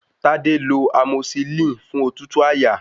Tádé lọ amosilínì fún òtútù àyà.